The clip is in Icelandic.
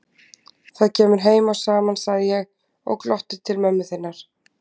Það kemur heim og saman, sagði ég og glotti til mömmu þinnar.